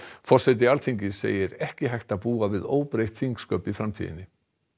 forseti Alþingis segir ekki hægt að búa við óbreytt þingsköp í framtíðinni